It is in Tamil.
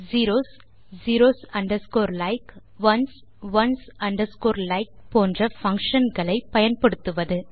zeros zeros underscore like ones ones underscore like போன்ற பங்ஷன்ஸ் களை பயன்படுத்துவது